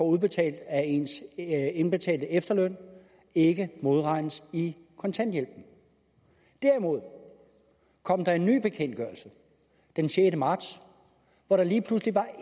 udbetalt af ens indbetalte efterløn ikke modregnes i kontanthjælpen så kom der en ny bekendtgørelse den sjette marts hvor der lige pludselig var